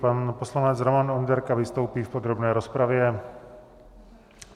Pan poslanec Roman Onderka vystoupí v podrobné rozpravě.